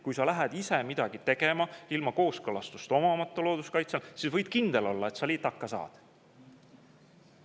Kui sa lähed ise ilma kooskõlastust omamata midagi tegema looduskaitsealal, siis võid kindel olla, et sa litaka saad.